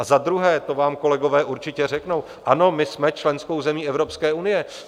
A zadruhé, to vám kolegové určitě řeknou, ano, my jsme členskou zemí Evropské unie.